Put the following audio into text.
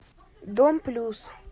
дом плюс